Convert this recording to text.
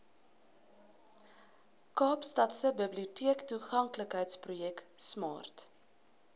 kaapstadse biblioteektoeganklikheidsprojek smart